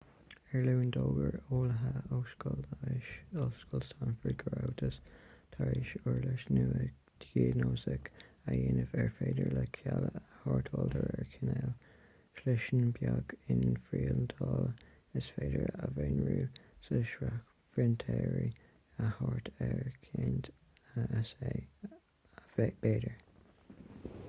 ar an luan d'fhógair eolaithe ó scoil leighis ollscoil stanford go rabhthas tar éis uirlis nua dhiagnóiseach a dhéanamh ar féidir léi cealla a shórtáil de réir cineáil sliseanna beag inphriontáilte is féidir a mhonarú le scairdphrintéirí ar thart ar ceint amháin s.a. b'fhéidir